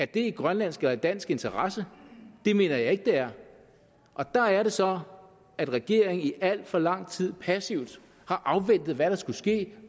det i grønlandsk og i dansk interesse det mener jeg ikke det er der er det så at regeringen i al for lang tid passivt har afventet hvad der skulle ske